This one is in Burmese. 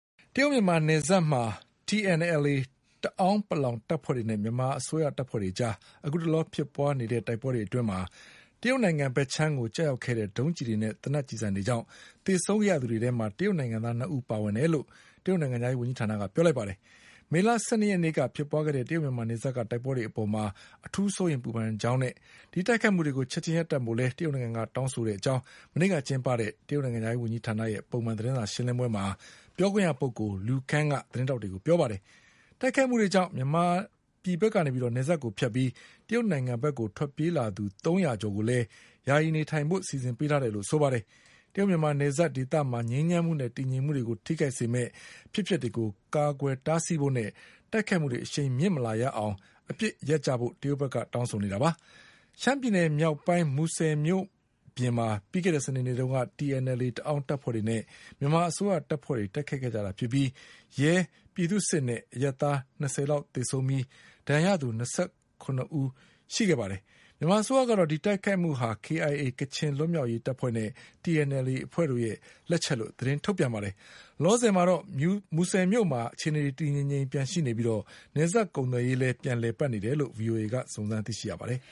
တရုတ်-မြန်မာနယ်စပ်မှာ TNLA တအောင်းပလောင်တပ်ဖွဲ့တွေနဲ့ မြန်မာအစိုးရတပ်ဖွဲ့တွေအကြား အခုတလော ဖြစ်ပွါး နေတဲ့ တိုက်ပွဲတွေအတွင်း တရုတ်နိုင်ငံဘက်ခြမ်းကိုကျရောက်ခဲ့တဲ့ ဒုံးကျည်တွေနဲ့ သေနတ်ကျည်ဆံတွေကြောင့် သေဆုံးခဲ့ရတဲ့သူတွေထဲမှာ တရုတ်နိုင်ငံသား၂ဦးပါဝင်တယ်လို့ တရုတ်နိုင်ငံခြားရေးဝန်ကြီးဌာနကပြောပါတယ်။ မေလ ၁၂ရက် နေ့ကဖြစ်ပွါးခဲ့တဲ့ တရုတ်-မြန်မာနယ်စပ်ကတိုက်ပွဲတွေအပေါ် အထူးစိုးရိမ်ပူပန်တဲ့အကြောင်းနဲ့တိုက်ခိုက်မှုတွေကို ချက်ချင်းရပ်တန့်ဖို့ကိုလည်း တရုတ်နိုင်ငံကတောင်းဆိုတယ်လို့ မနေ့ကကျင်းပတဲ့ တရုတ်နိုင်ငံခြားရေးဝန်ကြီးဌာနရဲ့ ပုံမှန် သတင်းစာရှင်းလင်းပွဲမှာ ပြောခွင့်ရပုဂ္ဂိုလ် Lu Kang က သတင်းထောက်တွေကိုပြောပါတယ်။ တိုက်ခိုက်မှုတွေကြောင့် မြန်မာပြည်ဘက်ကနေ နယ်စပ်ကိုဖြတ်ပြီး တရုတ်နိုင်ငံဘက်ကိုထွက်ပြေးလာသူ သုံးရာကျော် ကိုလည်း ယာယီနေထိုင် ဖို့စီစဉ်ပေးထားတယ်လို့လည်းဆိုပါတယ်။ တရုတ်-မြန်မာနယ်စပ်ဒေသမှာ ငြိမ်းချမ်းမှုနဲ့တည်ငြိမ်မှုတွေကိုထိခိုက်စေမယ့် အဖြစ်အပျက်တွေကို ကာကွယ်တားဆီးဖို့နဲ့ တိုက်ခိုက်မှုတွေအရှိန်မမြင့်လာရအောင် အပစ်ရပ်ကြဖို့တရုတ်ဘက်က တောင်းဆိုနေတာပါ။ ရှမ်းပြည်နယ်မြောက်ပိုင်း မူဆယ်မြို့ပြင်မှာ ပြီးခဲ့တဲ့စနေနေ့က TNLA တအောင်းတပ်ဖွဲ့တွေနဲ့ မြန်မာ အစိုးရတပ်တွေ တိုက်ခိုက်ခဲ့ကြတာဖြစ်ပြီး ရဲ၊ပြည်သူ့စစ်နဲ့အရပ်သား၂၀လောက်သေဆုံးခဲ့ရပြီး၂၇ဦး ဒဏ်ရာရခဲ့ပါတယ်။ မြန်မာအစိုးရကတော့ ဒီတိုက်ခိုက်မှုဟာ KIA ကချင်လွတ်လပ်ရေးအဖွဲ့နဲ့ TNLA အဖွဲ့တို့ရဲ့လက်ချက်လို့ သတင်းထုတ် ပြန်ပါတယ်။ လောလောဆယ်မှာတော့ မူဆယ်မြို့မှာ အခြေအနေတွေတည်တည်ငြိမ်ငြိမ်ရှိနေပြီး နယ်စပ်ကုန်သွယ်ရေး လည်း ပြန်လည်ပတ်နေတယ်လို့ ဗွီအိုအေကစုံစမ်းသိရှိရပါတယ်